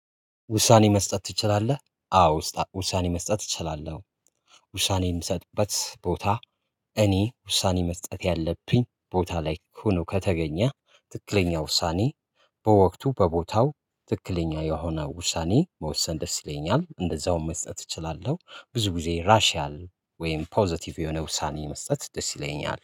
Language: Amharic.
ውሳኔ መስጠት ትችላለህ? አዎ ውሳኔ መስጠት እችላለሁ። ውሳኔ የምሰጥበት ቦታ። እኔ ውሳኔ መስጠት ያለብኝ ቦታ ላይ ሆኖ ከተገኘ ትክክለኛ ውሳኔ በወቅቱ በቦታው ትክክለኛ የሆነ ውሳኔ መወሰን ደስ ይለኛል። እንደዛውም መስጠት እችላለሁ። ብዙ ጊዜ ራሺያል ወይም ፖዘቲቭ የሆነ ውሳኔ መስጠት ደስ ይለኛል